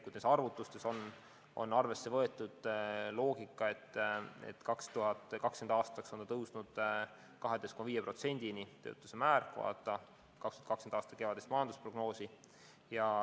Nendes arvutustes on arvesse võetud loogika, et 2020. aastal tõuseb töötus 12,5%-ni – selline oli tänavune kevadine majandusprognoos.